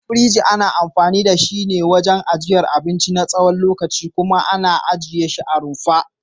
Firinji ana anfani da shi wajen ajiyar abinci na tsawon lokaci kuma ana ajiye shi a rumfa.